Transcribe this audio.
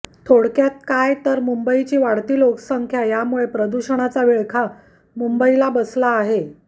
थोडक्यात काय तर मुंबईची वाढती लोकसंख्या यामुळे प्रदूषणाचा विळखा मुंबईला बसला आहे